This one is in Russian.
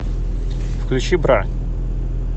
включи бра